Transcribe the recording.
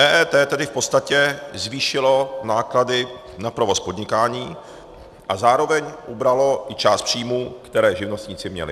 EET tedy v podstatě zvýšilo náklady na provoz podnikání a zároveň ubralo i část příjmů, které živnostníci měli.